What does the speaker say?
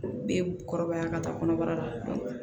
Bɛ kɔrɔbaya ka taa kɔnɔbara la